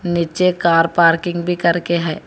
नीचे car parking भी करके है।